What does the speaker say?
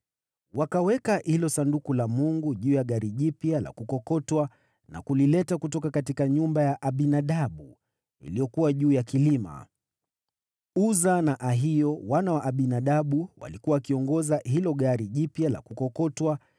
Wakaweka hilo Sanduku la Mungu juu ya gari jipya la kukokotwa na kulileta kutoka nyumba ya Abinadabu, iliyokuwa juu ya kilima. Uza na Ahio, wana wa Abinadabu, walikuwa wakiongoza hilo gari jipya la kukokotwa